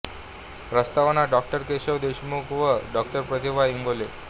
प्रस्तावना डॉ केशव देशमुख व डॉ प्रतिमा इंगोले